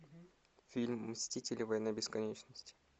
фильм мстители война бесконечности